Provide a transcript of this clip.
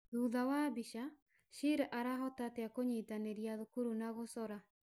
Thutha wa mbica, Sheila arahota atĩa kũnyitanĩria thukuru na gũcora?